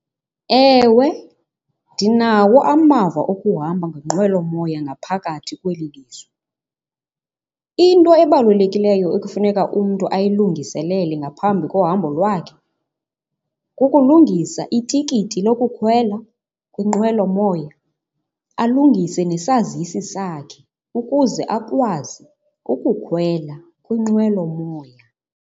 Ewe, ndinawo amava okuhamba ngenqwelomoya ngaphakathi kweli lizwe. Into ebalulekileyo ekufuneka umntu ayilungiselele ngaphambi kohambo lwakhe, kukulungisa itikiti lokukhwela kwinqwelomoya, alungise nesazisi sakhe ukuze akwazi ukukhwela kwinqwelomoya.